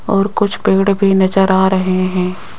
और कुछ पेड़ भी नजर आ रहे हैं।